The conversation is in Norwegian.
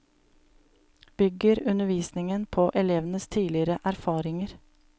Bygger undervisingen på elevenes tidligere erfaringer.